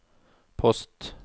post